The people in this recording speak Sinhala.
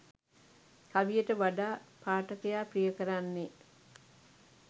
කවියට වඩා පාඨකයා ප්‍රිය කරන්නේ